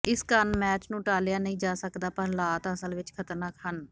ਇਸ ਕਾਰਨ ਮੈਚ ਨੂੰ ਟਾਲ਼ਿਆ ਨਹੀਂ ਜਾ ਸਕਦਾ ਪਰ ਹਾਲਾਤ ਅਸਲ ਵਿਚ ਖ਼ਤਰਨਾਕ ਹਨ